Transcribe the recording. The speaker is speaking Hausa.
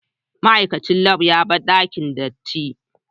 Ma'aikacin lab ya bar dakin datti.